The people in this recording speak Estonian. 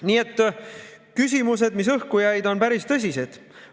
Nii et küsimused, mis õhku jäid, on päris tõsised.